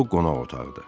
Bu qonaq otağıdır.